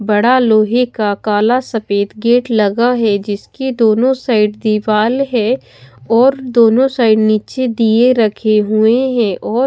बड़ा लोहे का काला सफेद गेट लगा है जिसके दोनों साइड दीवाल है और दोनों साइड नीचे दीए रखे हुए हैं और--